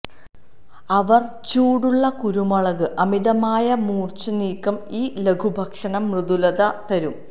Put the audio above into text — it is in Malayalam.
അവർ ചൂടുള്ള കുരുമുളക് അമിതമായ മൂര്ച്ച നീക്കം ഈ ലഘുഭക്ഷണ മൃദുലത തരും